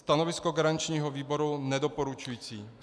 Stanovisko garančního výboru nedoporučující.